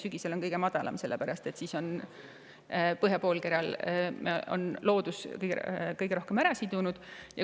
Sügisel on see kõige madalam, sest siis on põhjapoolkeral loodus kõige rohkem CO2 ära sidunud.